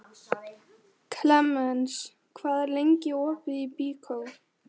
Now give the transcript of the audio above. Klemens, hvað er lengi opið í Byko?